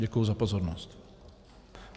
Děkuji za pozornost.